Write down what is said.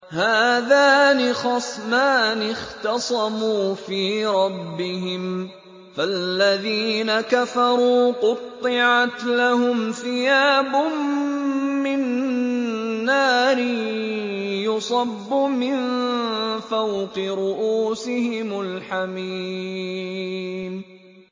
۞ هَٰذَانِ خَصْمَانِ اخْتَصَمُوا فِي رَبِّهِمْ ۖ فَالَّذِينَ كَفَرُوا قُطِّعَتْ لَهُمْ ثِيَابٌ مِّن نَّارٍ يُصَبُّ مِن فَوْقِ رُءُوسِهِمُ الْحَمِيمُ